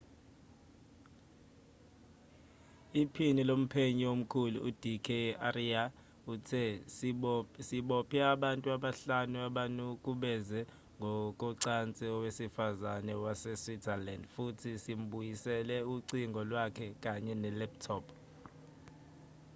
iphini lomphenyi omkhulu ud k arya uthe sibophe abantu abahlanu abanukubeze ngokocansi owesifazane waseswitzerland futhi simbuyisele ucingo lwakhe kanye ne-laptop